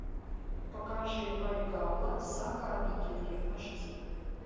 покажи вальгалла сага о викинге аш ди